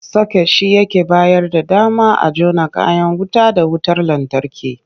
Soket shi yake bayar da dama a jona kayan wuta da wutar lantarki.